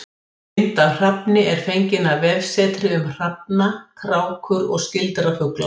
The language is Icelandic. Mynd af hrafni er fengin af vefsetri um hrafna, krákur og skyldra fugla.